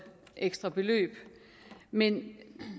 ekstra beløb men